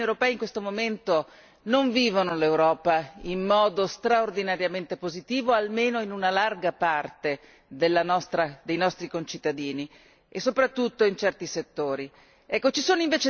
Sappiamo che i cittadini europei in questo momento non vivono l'Europa in modo straordinariamente positivo, almeno per larga parte dei nostri concittadini e soprattutto in certi settori.